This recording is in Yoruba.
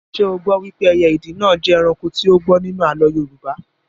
Ṣé o gbọ wípé ẹyẹ ìdì náà jẹ́ ẹranko tí ó gbọ́n nínú àlọ́ Yorùbá?